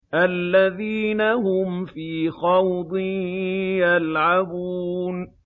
الَّذِينَ هُمْ فِي خَوْضٍ يَلْعَبُونَ